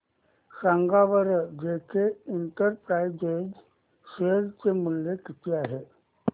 सांगा बरं JK enterprises share मूल्य किती आहे